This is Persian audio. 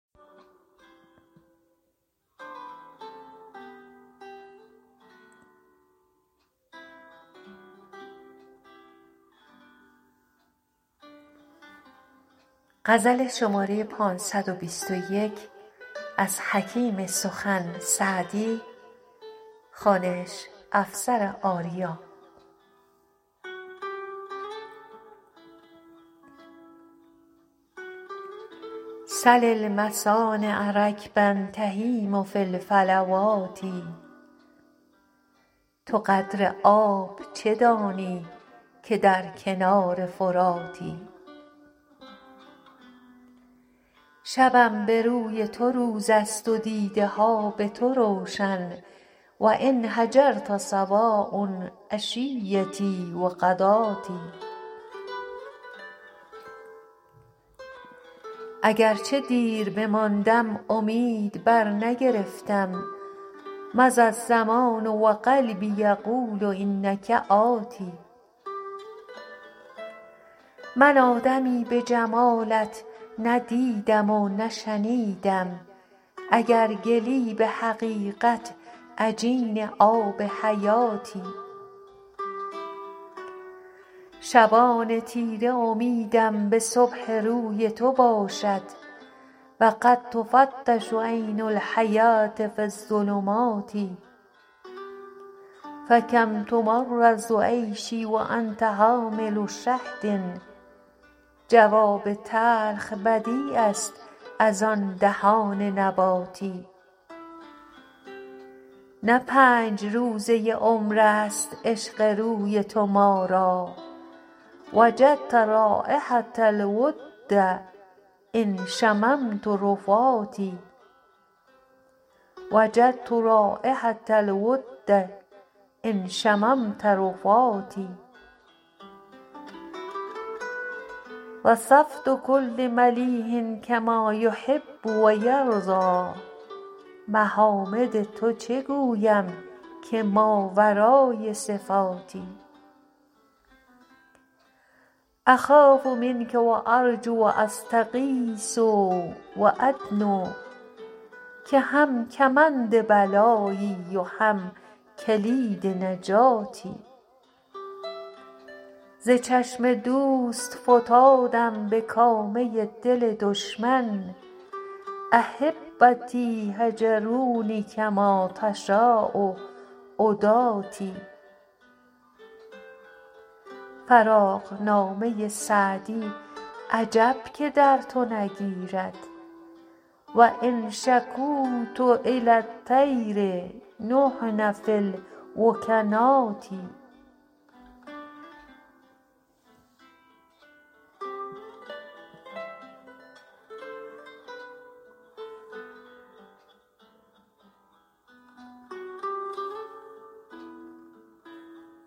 سل المصانع رکبا تهیم فی الفلوات تو قدر آب چه دانی که در کنار فراتی شبم به روی تو روز است و دیده ها به تو روشن و إن هجرت سواء عشیتي و غداتي اگر چه دیر بماندم امید برنگرفتم مضی الزمان و قلبي یقول إنک آت من آدمی به جمالت نه دیدم و نه شنیدم اگر گلی به حقیقت عجین آب حیاتی شبان تیره امیدم به صبح روی تو باشد و قد تفتش عین الحیوة في الظلمات فکم تمرر عیشي و أنت حامل شهد جواب تلخ بدیع است از آن دهان نباتی نه پنج روزه عمر است عشق روی تو ما را وجدت رایحة الود إن شممت رفاتي وصفت کل ملیح کما یحب و یرضیٰ محامد تو چه گویم که ماورای صفاتی أخاف منک و أرجو و أستغیث و أدنو که هم کمند بلایی و هم کلید نجاتی ز چشم دوست فتادم به کامه دل دشمن أحبتي هجروني کما تشاء عداتي فراقنامه سعدی عجب که در تو نگیرد و إن شکوت إلی الطیر نحن في الوکنات